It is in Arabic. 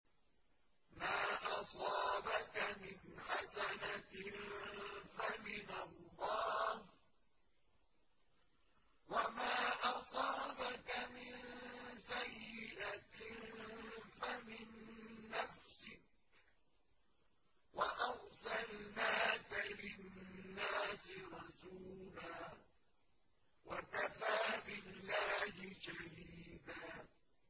مَّا أَصَابَكَ مِنْ حَسَنَةٍ فَمِنَ اللَّهِ ۖ وَمَا أَصَابَكَ مِن سَيِّئَةٍ فَمِن نَّفْسِكَ ۚ وَأَرْسَلْنَاكَ لِلنَّاسِ رَسُولًا ۚ وَكَفَىٰ بِاللَّهِ شَهِيدًا